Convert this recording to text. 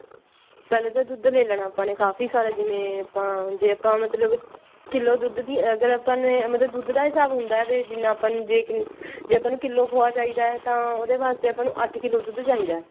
ਪਹਿਲਾਂ ਤਾਂ ਦੁੱਧ ਲੇ ਲੇਣਾ ਆਪਾਂ ਨੇ ਕਾਫੀ ਸਾਰਾ ਜਿਵੇਂ ਜੇ ਆਪਾਂ ਮਤਲਬ ਕਿੱਲੋ ਦੁੱਧ ਦੀ ਅਗਰ ਆਪਾਂ ਨੇ ਮਤਲਬ ਦੁੱਧ ਦਾ ਹਿਸਾਬ ਹੁੰਦਾ ਵੀ ਜਿੰਨਾ ਆਪਾਂ ਨੇ ਜੇ ਆਪਾਂ ਨੂੰ ਕਿੱਲੋ ਖੋਆ ਚਾਹਿਦਾ ਤਾਂ ਉਹਦੇ ਵਾਸਤੇ ਆਪਾਂ ਨੂੰ ਅੱਠ ਕਿੱਲੋ ਦੁੱਧ ਚਾਹਿਦਾ